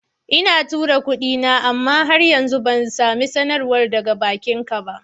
Ina tura kudin, amma har yanzu bai sami sanarwar daga bankinsa ba.